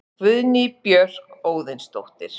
Guðný Björk Óðinsdóttir